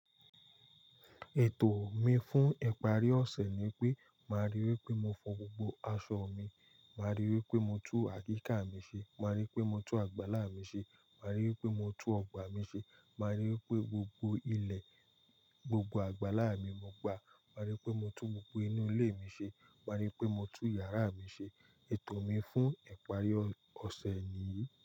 Ètò mi fún ìparí ọ̀sẹ̀ ni pé, máa rí i pé mo fọn gbogbo aṣọ mi, máa rí i pé mo tú àyíká mi ṣe, máa rí i pé mo tú àgbálá mi ṣe, máa rí i pé mo tú ọgbà mi ṣe, máa rí i pé gbogbo ilẹ̀, gbogbo àgbálá mi mo gbà, máa rí i pé mo tú gbogbo inú ilé mi ṣe, máa rí i pé mo tú yàrá mi ṣe. Ètò mi fún ìparí ọ̀sẹ̀ nì yìí.